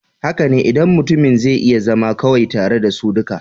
Haka ne, idan mutumin zai iya zama kawai tare da su duka.